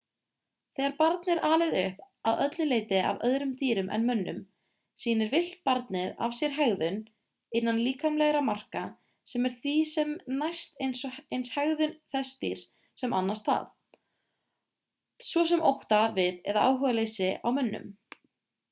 þegar barn er alið upp að öllu leyti af öðrum dýrum en mönnum sýnir villt barnið af sér hegðun innan líkamlegra marka sem er því sem næst eins hegðun þess dýrs sem annast það svo sem ótta við eða áhugaleysi á mönnum